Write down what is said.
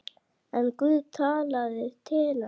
En Guð talaði til hennar.